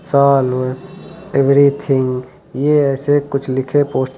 solve everything ये ऐसे कुछ लिखे पोस्ट --